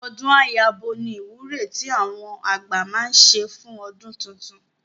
Ọdún á yabo ni ìwúre tí àwọn àgbà máa ń ṣe fún ọdún titun